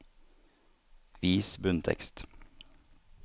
Vis bunntekst